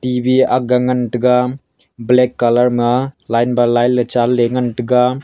T_B ga ngan taiga black colour line by line chan ley ngan taiga.